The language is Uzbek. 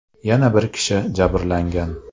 Yana bir kishi jabrlangan.